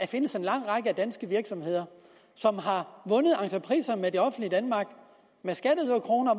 findes en lang række af danske virksomheder som har vundet entrepriser med det offentlige danmark med skatteyderkroner